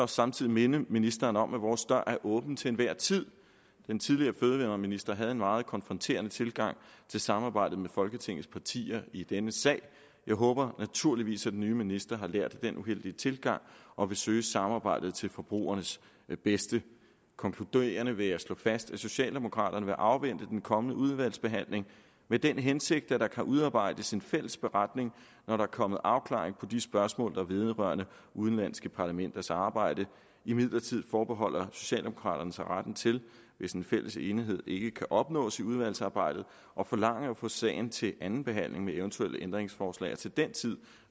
samtidig minde ministeren om at vores dør er åben til enhver tid den tidligere fødevareminister havde en meget konfronterende tilgang til samarbejdet med folketingets partier i denne sag jeg håber naturligvis at den nye minister har lært af den uheldige tilgang og vil søge samarbejdet til forbrugernes bedste konkluderende vil jeg slå fast at socialdemokraterne vil afvente den kommende udvalgsbehandling med den hensigt at der kan udarbejdes en fælles beretning når der er kommet afklaring på de spørgsmål der vedrører udenlandske parlamenters arbejde imidlertid forbeholder socialdemokraterne sig retten til hvis en fælles enighed ikke kan opnås i udvalgsarbejdet at forlange at få sagen til anden behandling med eventuelle ændringsforslag og til den tid